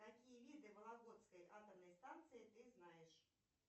какие виды вологодской атомной станции ты знаешь